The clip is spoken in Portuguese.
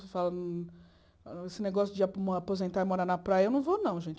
Esse negócio de aposentar e morar na praia, eu não vou, não, gente.